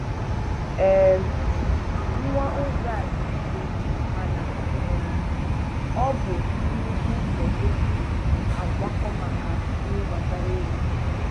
um Nwaa ụzọ a dị mfe mana um ọ bụ nnukwu ụzọ e si a kwakọ maka ihe gbasara ego